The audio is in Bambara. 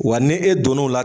Wa ni e donno la